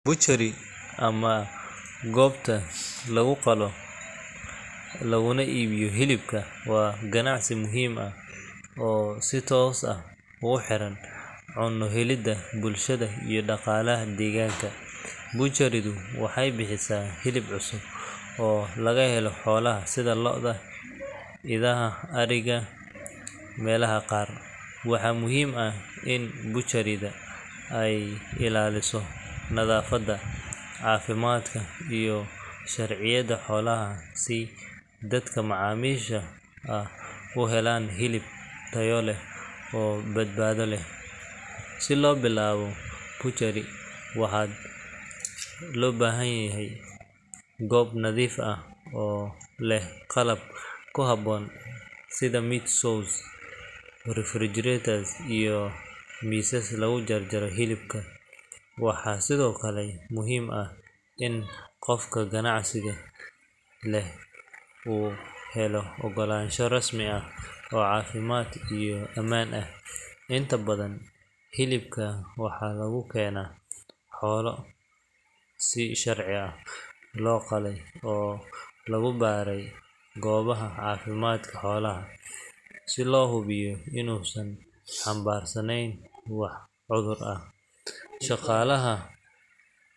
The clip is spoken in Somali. Butchery ama goobta lagu qalo laguna iibiyo hilibka, waa ganacsi muhiim ah oo si toos ah ugu xiran cunno-helidda bulshada iyo dhaqaalaha deegaanka. Butchery-du waxay bixisaa hilib cusub oo laga helo xoolaha sida lo’da, idaha, ariga, iyo meelaha qaar. Waxaa muhiim ah in butchery-da ay ilaaliso nadaafadda, caafimaadka, iyo sharciyada xoolaha si dadka macaamiisha ah u helaan hilib tayo leh oo badbaado leh. Si loo bilaabo butchery, waxaa loo baahan yahay goob nadiif ah oo leh qalab ku habboon sida meat saws, refrigerators, iyo miisas lagu jaro hilibka. Waxaa sidoo kale muhiim ah in qofka ganacsiga leh uu helo oggolaansho rasmi ah oo caafimaad iyo ammaan ah. Inta badan hilibka waxaa lagu keenaa xoolo si sharci ah loo qalay oo lagu baaray goobaha caafimaadka xoolaha, si loo hubiyo inuusan xambaarsaneyn wax cudur ah. Shaqaalaha.